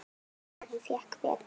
Hann fékk bætur.